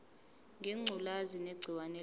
ngengculazi negciwane layo